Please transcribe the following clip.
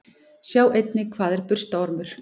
Sjá einnig: Hvað er burstaormur?